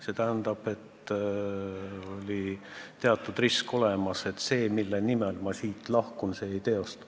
See tähendab, et oli olemas teatud risk, et see, mille nimel ma siit lahkun, ei teostu.